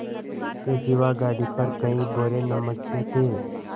इसके सिवा गाड़ी पर कई बोरे नमक के थे